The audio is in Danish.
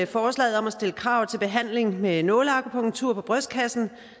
forslaget om at stille krav til behandling med nåleakupunktur på brystkassen